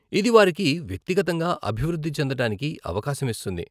ఇది వారికి వ్యక్తిగతంగా అభివృద్ధి చెందటానికి అవకాశం ఇస్తుంది.